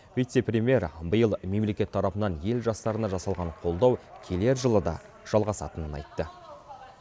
вице премьер биыл мемлекет тарапынан ел жастарына жасалған қолдау келер жылы да жалғасатынын айтты